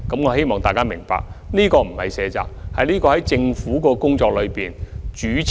我希望大家明白，政府並非卸責，而是考慮到政府工作的主次問題。